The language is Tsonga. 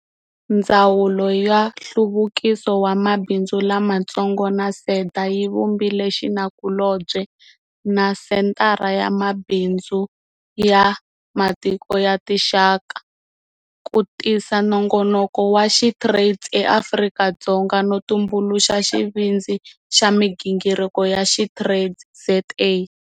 Ndzawulo ya Nhluvukiso wa Mabindzu Lamatsongo na SEDA yi vumbile xinakulobye na Senthara ya Mabindzu ya Matiko ya Tinxaka ku tisa nongonoko wa SheTrades eAfrika-Dzonga, no tumbuluxa xivindzi xa migingiriko ya SheTradesZA.